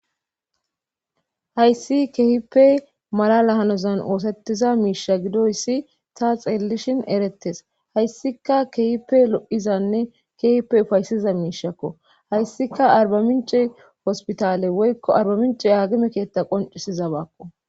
hayssi keehippe malala hanozan oosettiza miisha gidoyssi ta xeellishin erettes hayssika kehipe lo7izanne keehippe ufayssiza miishakko hayssika arbamince hospitale woykko arba mince agime keetta qoncisiza baakko